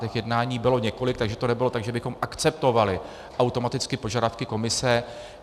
Těch jednání bylo několik, takže to nebylo tak, že bychom akceptovali automaticky požadavky Komise.